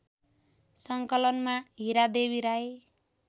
सङ्कलनमा Hiradevi Rai